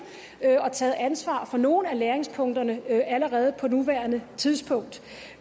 og taget ansvar på nogle af læringspunkterne allerede på nuværende tidspunkt